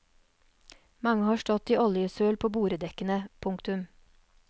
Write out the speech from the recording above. Mange har stått i oljesøl på boredekkene. punktum